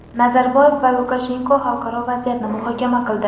Nazarboyev va Lukashenko xalqaro vaziyatni muhokama qildi.